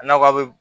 A nakɔ be